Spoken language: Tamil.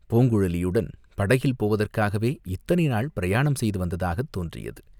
பூங்குழலியுடன் படகில் போவதற்காகவே இத்தனை நாள் பிரயாணம் செய்து வந்ததாகத் தோன்றியது.